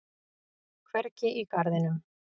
Hvergi í garðinum.